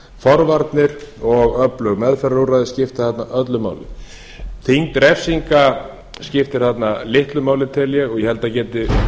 forvarnir og öflug meðferðarúrræði skipta þarna öllu máli þyngd refsinga skiptir þarna litlu máli tel ég og ég held að það geti